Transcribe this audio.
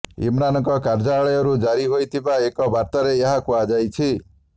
ଇମ୍ରାନଙ୍କ କାର୍ଯ୍ୟାଳୟରୁ ଜାରି ହୋଇଥିବା ଏକ ବାର୍ତ୍ତାରେ ଏହା କୁହାଯାଇଛି